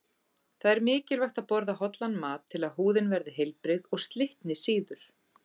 Það er mikilvægt að borða hollan mat til að húðin verði heilbrigð og slitni síður.